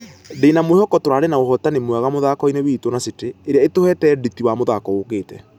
Ndĩna mwihoko tũrarĩ na ũhotani mwega mũthako-inĩ witũ na city ĩrĩa ĩtũhĩte nditi wa mũthako ũkĩte.